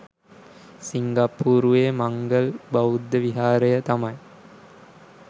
සිංගප්පූරුවේ මංගල් බෞද්ධ විහාරය තමයි